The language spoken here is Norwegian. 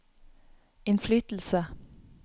innflytelse